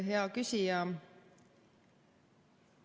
Hea küsija!